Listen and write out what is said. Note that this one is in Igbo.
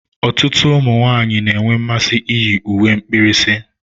Ọtụtụ ụmụ nwanyị na-enwe mmasị iyi uwe mkpirisi.